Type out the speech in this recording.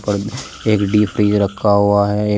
और एक डी_पी रखा हुआ है एक--